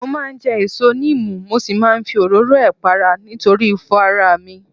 Mo máa ń jẹ èso níìmù mo sì máa ń fi òróró ẹ̀ para nítorí ifo ara mi